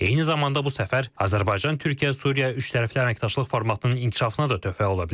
Eyni zamanda bu səfər Azərbaycan, Türkiyə, Suriya üçtərəfli əməkdaşlıq formatının inkişafına da töhfə ola bilər.